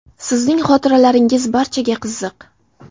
Sizning xotiralaringiz barchaga qiziq.